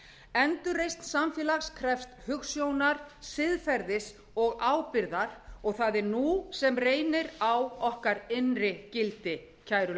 endurreisn samfélags krefst hugsjónar siðferðis og ábyrgðar og það er nú sem reynir á okkar innri gildi kæru